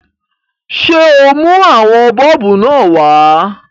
Ṣé o mú àwọn bọ́ọ̀bù náà wá?